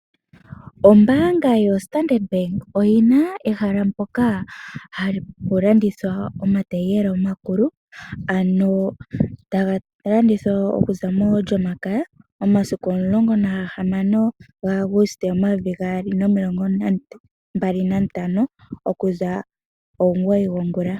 Ombaanga yoStandard Bank, oyi na ehala mpoka hapu landithwa omataiyela omakulu, ano taga landithwa okuza molyomakaya omasiku 16 Aguste 2025, oku za omugoyi gwongula.